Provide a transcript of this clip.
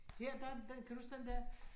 Her der den kan du huske den der?